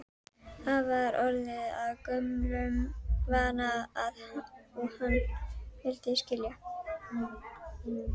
Það var orðið að gömlum vana og hann vildi skilja.